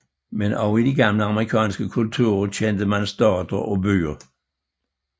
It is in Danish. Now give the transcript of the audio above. Men også i de gamle amerikanske kulturer kendte man stater og byer